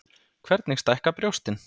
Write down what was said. Hvernig stækka brjóstin?